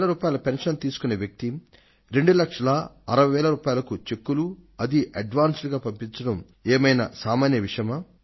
16000 pension తీసుకొనే వ్యక్తి 2 లక్షల అరవై వేల రూపాయలకు చెక్కులు అదీ అడ్వాన్స్ గా పంపించడం ఏమైనా సామాన్య విషయమా